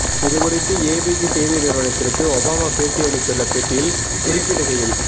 இது குறித்து ஏபிசி செய்தி நிறுவனத்திற்கு ஒபாமா பேட்டி அளித்துள்ள பேட்டியில் குறிப்பிடுகையில்